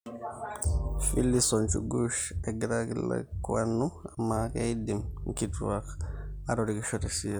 Phillys o Njugush egiraaikilikwanu, amaa keidim nkituak atorikisho te siasa?